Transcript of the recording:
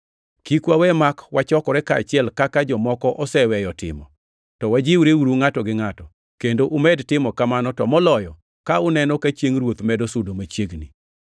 Kik wawe mak wachokore kaachiel, kaka jomoko oseweyo timo, to wajiwreuru ngʼato gi ngʼato, kendo umed timo kamano to moloyo ka uneno ka Chiengʼ Ruoth medo sudo machiegni.